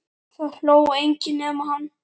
Það hló enginn nema hann.